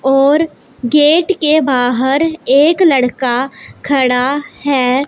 और गेट के बाहर एक लड़का खड़ा है।